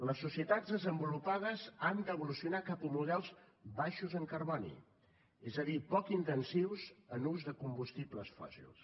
les societats desenvolupades han d’evolucionar cap a models baixos en carboni és a dir poc intensius en l’ús de combustibles fòssils